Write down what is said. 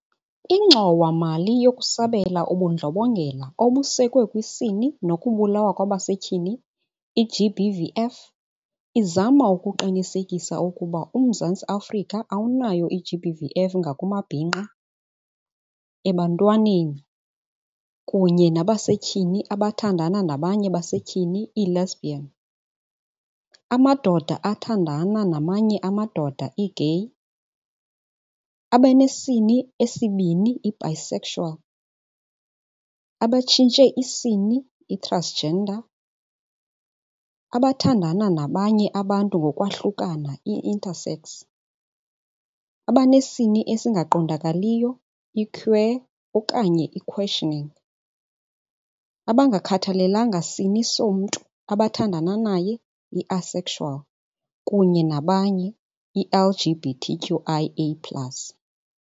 INgxowa-mali yokuSabela uBundlobongela obuSekwe kwiSini nokuBulawa kwa baseTyhini, i-GBVF, izama ukuqinisekisa ukuba uMzantsi Afrika awunayo i-GBVF ngakumabhinqa, ebantwaneni, kunye nabasetyhini abathandana nabanye basetyhini, i-lesbian, amadoda athandana namanye amadoda, i-gay, abanesini esibini, i-bisexual, abatshintshe isini, i-transgender, abathandana nabanye abantu ngokwahlukana, i-intersex, abanesini esingaqondakaliyo, i-queer okanye i-questioning, abangakhathalelanga sini somntu abathandana naye, i-asexual, kunye nabanye, i-LGBTQIA plus.